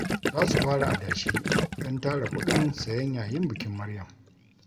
Za su fara adashi don tara kuɗin sayen yayin bikin Maryam